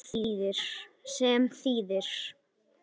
sem þýðir